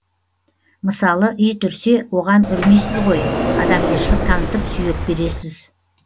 мысалы ит үрсе оған үрмейсіз ғой адамгершілік танытып сүйек бересіз